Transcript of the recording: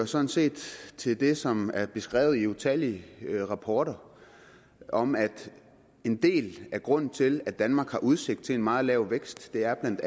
sådan set til det som er beskrevet i utallige rapporter om at en del af grunden til at danmark har udsigt til en meget lav vækst er